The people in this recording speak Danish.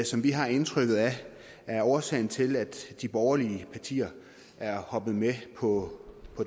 som vi har indtrykket af er årsagen til at de borgerlige partier er hoppet med på